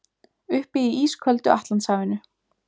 Uppi í ísköldu Atlantshafinu.